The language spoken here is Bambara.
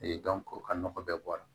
o ka nɔgɔ bɛɛ bɔ a la